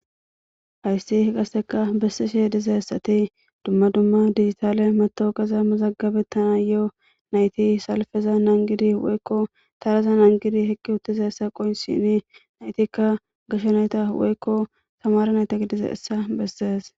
Haysi qaseka besishe dizaysati duma duma dijitale matoqeza mazagabetanayo nayti salfeza nangidi woyko taraza nangizi eqiwutidaysa qonc'sishin naytika gashe nayt woyko tamare nayta gidizaysa beses.